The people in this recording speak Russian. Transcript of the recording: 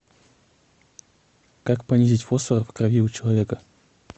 как понизить фосфор в крови у человека